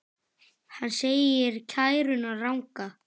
Hann segir kæruna ranga.